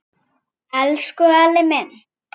Elsku Elli minn.